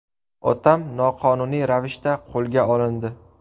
Otam noqonuniy ravishda qo‘lga olindi!